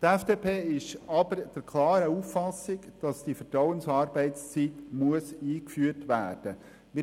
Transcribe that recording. Die FDP ist aber der klaren Auffassung, dass die Vertrauensarbeitszeit eingeführt werden muss.